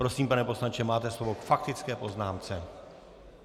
Prosím, pane poslanče, máte slovo k faktické poznámce.